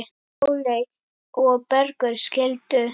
Sóley og Bergur skildu.